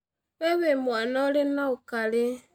Wee wĩ mwana urĩ na ũkarĩ